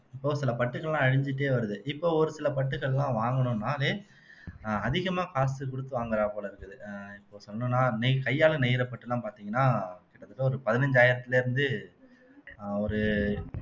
இப்போ சில பட்டுக்கள் எல்லாம் அழிஞ்சிட்டே வருது இப்போ ஒரு சில பட்டுகள் எல்லாம் வாங்கணும்னாலே ஆஹ் அதிகமா காசு கொடுத்து வாங்கறா போலே இருக்குது அஹ் இப்போ சொல்லனும்னா நெய் கையால நெய்யிற பட்டெல்லாம் பாத்தீங்கன்னா கிட்டத்தட்ட ஒரு பதினைஞ்சாயிரத்துல இருந்து ஆஹ் ஒரு